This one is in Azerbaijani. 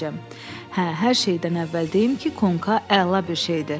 Hə, hər şeydən əvvəl deyim ki, konka əla bir şeydir.